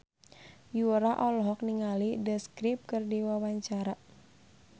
Yura olohok ningali The Script keur diwawancara